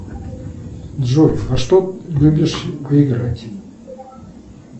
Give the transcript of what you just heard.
джой во что любишь поиграть